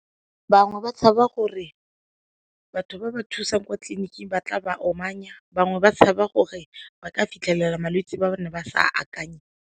Bangwe ba tshaba gore batho ba ba thusang kwa tleliniking ba tla ba omanya, bangwe ba tshaba gore ba ka fitlhelela malwetse ba ne ba sa akanye.